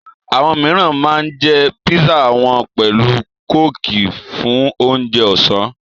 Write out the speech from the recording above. Àwọn míìràn ma ń jẹ́ písà wọn pẹ̀lú kóòkì fún ounje ọ̀sán